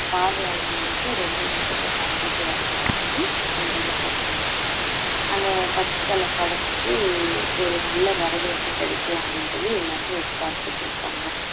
பார்வையாளர்கள் வந்து ரொம்ப லட்சத்தை தாண்டிட்டு வர்றதா சொல்லி செய்தியில போட்டிருந்தாங்க அந்த பத்து தல படம் வந்து ஒரு நல்ல வரவேற்பு கிடைக்கும் அப்படின்னு சொல்லி எல்லாருமே எதிர்பார்த்துட்டு இருக்காங்க